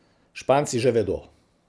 Španci že vedo ...